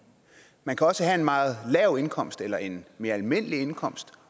man kan også have en meget lav indkomst eller en mere almindelig indkomst